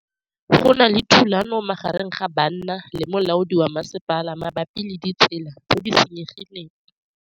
Go na le thulanô magareng ga banna le molaodi wa masepala mabapi le ditsela tse di senyegileng.